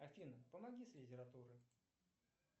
афина помоги с литературой